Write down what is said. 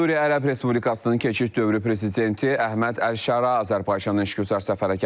Suriya Ərəb Respublikasının keçid dövrü prezidenti Əhməd Əlşara Azərbaycana işgüzar səfərə gəlib.